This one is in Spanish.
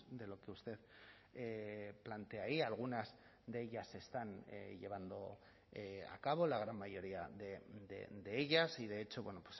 de lo que usted plantea y algunas de ellas se están llevando a cabo la gran mayoría de ellas y de hecho bueno